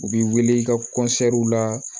U bi wele i ka la